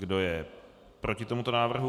Kdo je proti tomuto návrhu?